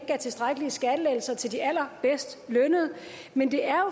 givet tilstrækkelige skattelettelser til de allerbedst lønnede men det er